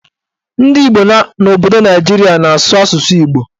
Ndị Igbo n'obodo Naijiria na-azụ asụsụ Igbo